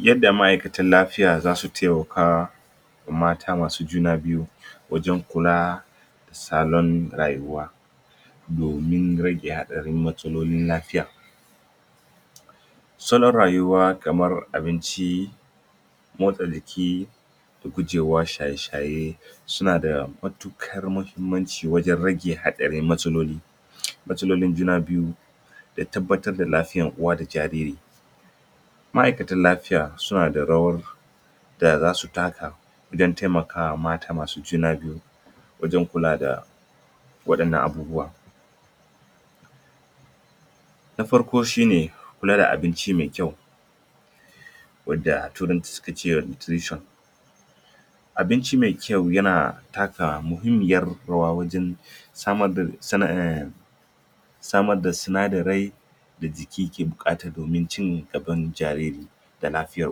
Yadda ma aikatan lafiya zasu temaka mata masu juna biyu wajan kula salon rayuwa domin rage hatsarin matsalolin lafiya salon rayuwa kamar abinci motsa jiki da gujewa shaye shaye sunada matuƙar mahimmanci wajan rage haɗarin matsaloli matsalolin juna biyu da tabbatar da lafiya uwa da jariri ma'aikatan lafiya sunada rawar da zasu taka da temakama mata masu juna biyu wajan kula da waɗannan abubuwa na farko shine kula da abinci me kyau wanda a turanci sukace nutrition abinci mai kyau yana taka muhimmiyan rawa wajan samar da samar da sina darai da jiki ke buƙata domin ci gaban jariri da lafiyar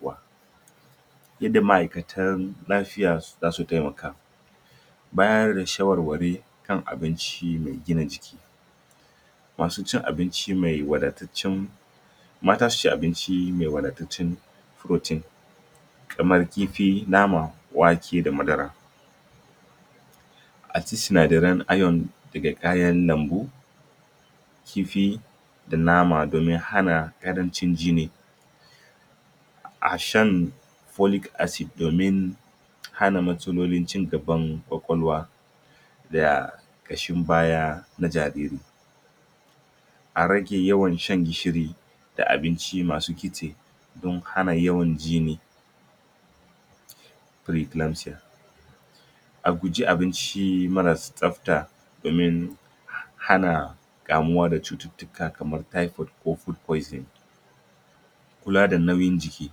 uwa yadda ma aikatan lafiya zasu temeka bayar sha warwari kan abinci mai gina jiki masucin abinci me wada tatcan mata suci abinci mai wada tatcan protein kamar kifi nama wake da madara aci sina daran ayon daga kayan lambu kifi da nama domin hana karancin jini a shan folik asid domin hana matsalolin ci gaban ƙwaƙwalwa da ƙashin baya na jariri a rage yawan shan gishiri da abinci masu kitse don hana yawan jini firi gilamsiya a guji abinci marasa tsafta domin hana kamuwa da cutut tuka kaman taifod ko abinci ma guba kula da nauyin jiki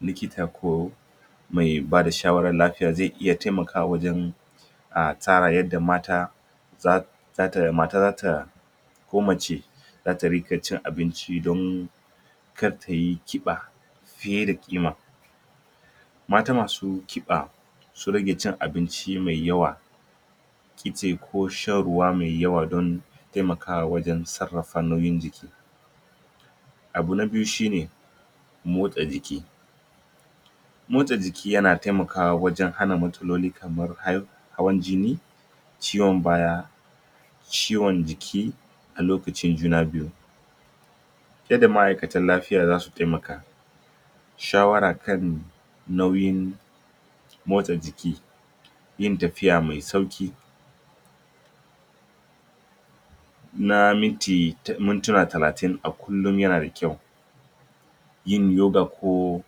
likita ko me bada shawara lafiya ze iya temakawa wajan tsara yadda mata zata, mata zata ko mace zata riƙa cin abinci don kar tayi ƙiba fiye da ƙima mata masu ƙiba su rage cin abinci mai yawa kitse ko shan ruwa mai yawa don temakawa wajan sarrafa nauyin jiki abu na biyu shine motsa jiki motsa jiki yana temakawa wajan hana matsaloli kafin hawan jini ciwon baya ciwon jiki a lokacin juna biyu fiye da ma aikatan lafiya zasu temaka shawara kan nauyin motsa jiki yin tafiya me sauki na miti, mintina talatin a kullin yanada kyau yin yoga ko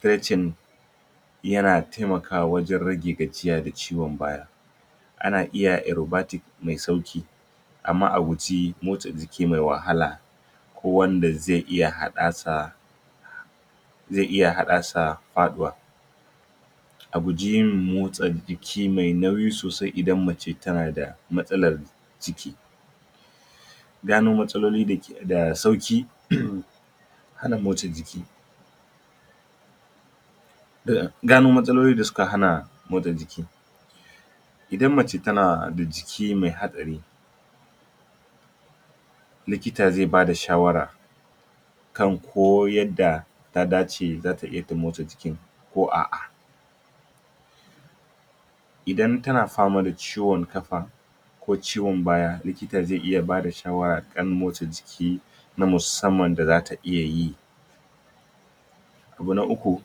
fecin yana temakawa wajan rage gajiya da ciwon baya ana iya erobatik me sauki amma aguje motsa jiki me wahala ko wanda ze iya haɗasa ze iya haɗasa faɗuwa aguji yin motsa jiki sosai idan mace tanada matsalar ciki gano matsaloli da sauki? hana motsa jiki da gano matsaloli da suka hana motsa jiki idan mace tana buncike me hatsari likita ze bada shawara kan koyarda ta dace zata iya motsa jikin ko a'a idan tana fama da ciwon ƙafa ko ciwon baya likita ze iya bada shawara kan motsa jiki na musamman da zata iyayi ko na uku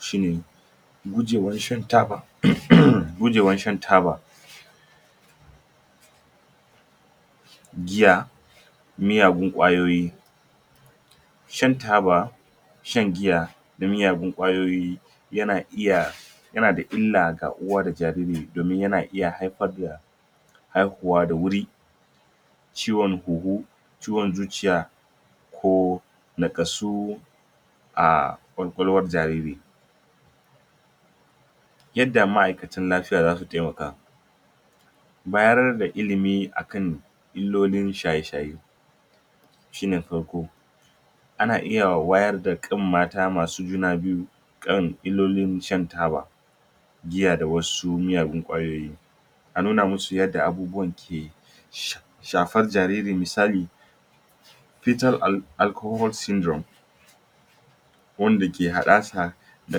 shine gujewan shan taba, gujewan shan taba giya miyagun ƙwayoyi shan taba shan giya da miyagun ƙwayoyi yana iya yanada illa ga uwa da jariri domin yana iya haifar da haihuwa da wuri ciwon hunhu ciwon zuciya ko nakasu a ƙwaƙolwan jariri yadda ma aikacin lafiya zasu temaka bayan da ilimi akan illolin shaye shaye shine farko ana iya wayar da kan mata masu juna biyu kan illolin shan taba giya sa wasu miyagun ƙwayoyi a nuna musu yadda abubuwan ya ke? shafar jariri misali fitar alkahol simdrom wanda ke haɗasa da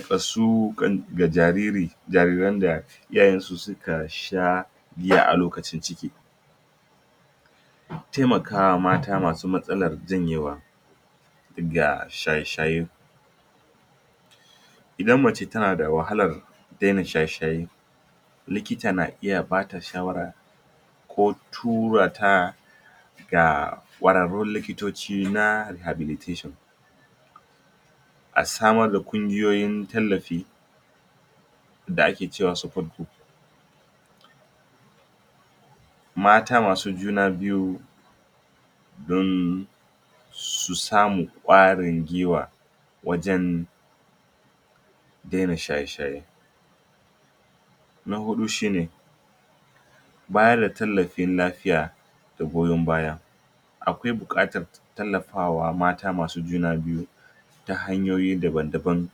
fasuƙan ga jariri jariran da iyayansu suka sha giya alokacin ciki temakawa mata masu matsalan janyewa ga shaye shaye idan mace tanada wahalar dena shaye shaye likita na iya bata shawara ko turata ga ƙwararrun likitoci na habilitation a samar da ƙungiyoyin tallafi da ake cewa super group mata masu juna biyu don su samu ƙwarin gwiwa wajan dena shaye shaye na huɗu shine bayan da tallafin lafiya da goyon baya akwai buƙatar tallafawa mata masu juna biyu ta hanyoyi daban daban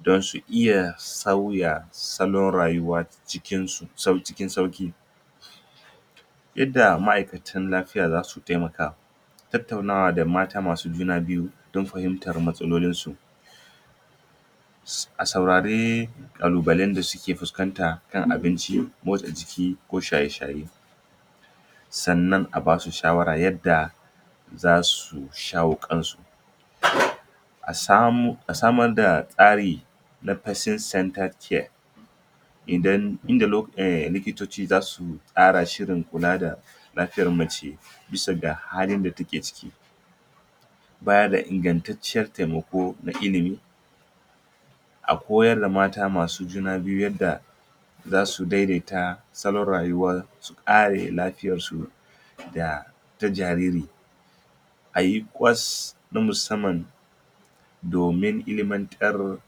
don su iya sauya salon rayuwa cikin sauƙi yadda ma'akatan lafiya zasu temaka tattanawa ga mata masu juna biyu don fahimtar matsalolinsu a saurari ƙalu balan da suke fuskanta na abinci motsa jiki ko shaye shaye sannan anbasu shawara yadda zasu shayo kansu? asamu, asamar da tsari na fesil santa kiye idan, inda lo likitoci zasu tsarashi da kula da lafiyar mace bisa da halin da teke ciki bayarda ingan taccan temeko na ilimi a koyar da mata masu juna biyu ta yadda zasu daidaita salon rayuwar kare lafiyar su da ta jariri ayi bita na musamman domin ilimantar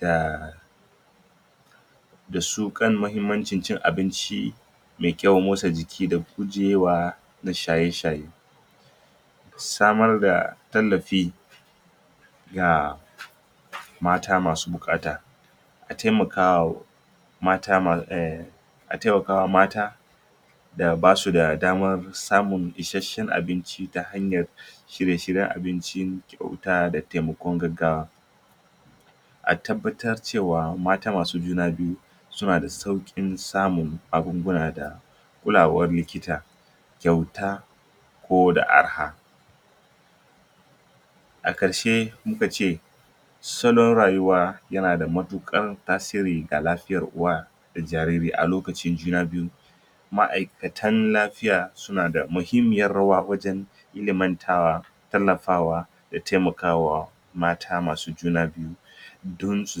da dasu kan mahimmancin abinci me kyau motsa jiki da gujewa da shaye shaye samarda tallafi ga mata masu biƙata atemakawa mata ma, atemakawa mata da basu da dama samun ishashshan abinci ta hanyar shirye shiyen abinci rubuta da temakon gaggawa atabbatar cewa mata masu juna biyu sunada saukin samun abubuwa da kulawan likita ƙwauta ko da arha aƙarshe muka ce salon rayuwa yanada matuɗ ƙar tasiri ga lafiyan uwa da jariri alokacin juna biyu ma aikatan lafiya sunada mahimmiyar rawa wajan iliman tarwa tallafawa da temakawa mata masu juna biyu don su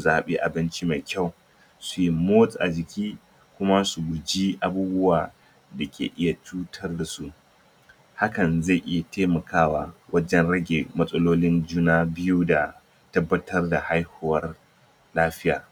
zaɓi abinci me kyau su motsa jiki kuma su ci abubuwa da ke iya cutar dasu hakan ze iya temakawa wajan rage matsalolin juna biyu da tabbatar da haihuwar lafiya